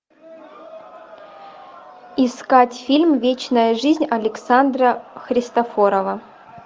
искать фильм вечная жизнь александра христофорова